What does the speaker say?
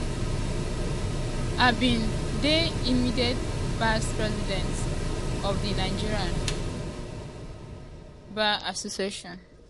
"i um be di um immediate past president of di nigerian bar association.